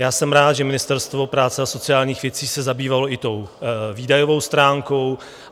Já jsem rád, že Ministerstvo práce a sociálních věcí se zabývalo i tou výdajovou stránkou.